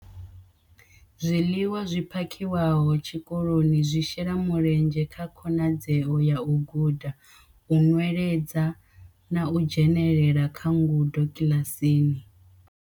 Zwiḽiwa zwi phakhiwaho tshikoloni zwi shela mulenzhe kha khonadzeo ya u guda, u nweledza na u dzhenela kha ngudo kiḽasini.